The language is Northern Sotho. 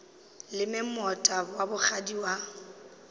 leme moota wa bogadi ka